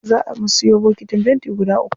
Zaa mu siyo bokitin fenti guda uku.